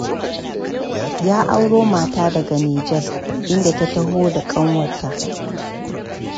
Ya auro mata daga Nijar, inda ta taho da ƙanwarta.